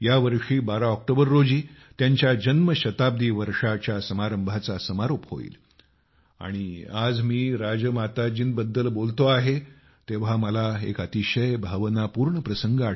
या वर्षी 12 ऑक्टोबर रोजी त्यांच्या जन्मशताब्दी वर्षाच्या समारंभाचा समारोप होईल आणि आज मी राजमाताजींबद्दल बोलतो आहे तेव्हा मला एक अतिशय भावनापूर्ण प्रसंग